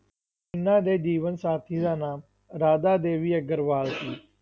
ਇਹਨਾਂ ਦੇ ਜੀਵਨ ਸਾਥੀ ਦਾ ਨਾਮ ਰਾਧਾ ਦੇਵੀ ਅਗਰਵਾਲ ਸੀ।